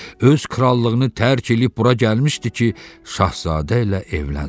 Öz krallığını tərk eləyib bura gəlmişdi ki, Şahzadə ilə evlənsin.